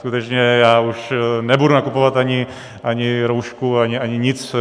Skutečně já už nebudu nakupovat ani roušku, ani nic.